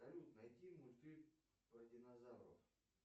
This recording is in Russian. салют найди мультфильм про динозавров